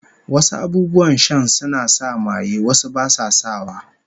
Wasu abubuwan shan suna sa maye, wasu basu sa wa